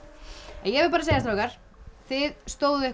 ég vil bara segja strákar þið stóðuð ykkur